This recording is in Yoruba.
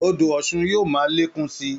Odò Ọ̀ṣun yóò máa lékún sí i